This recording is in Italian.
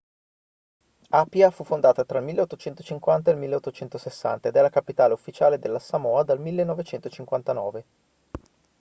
apia fu fondata tra il 1850 e il 1860 ed è la capitale ufficiale delle samoa dal 1959